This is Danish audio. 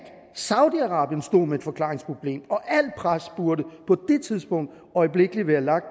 saudi arabien stod med et forklaringsproblem og alt pres burde på det tidspunkt øjeblikkelig være lagt